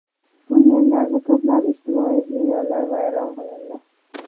Bu yerlarda ko‘plab ijtimoiy binolar vayron qilindi.